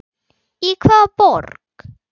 Í hvaða borg?